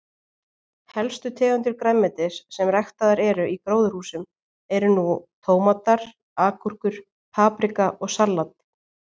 Helstu tegundir grænmetis sem ræktaðar eru í gróðurhúsum eru nú tómatar, agúrkur, paprika og salat.